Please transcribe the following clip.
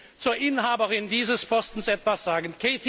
Ich will zur Inhaberin dieses Postens etwas sagen.